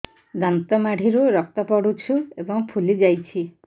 ଦାନ୍ତ ମାଢ଼ିରୁ ରକ୍ତ ପଡୁଛୁ ଏବଂ ଫୁଲି ଯାଇଛି